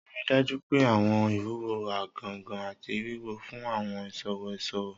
Rii daju pe awọn iwuwo gangan ati wiwọn fun awọn iṣowo iṣowo.